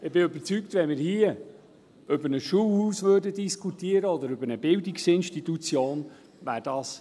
Ich bin überzeugt, dass das kein Thema wäre, wenn wir hier über ein Schulhaus oder über eine Bildungsinstitution sprechen würden.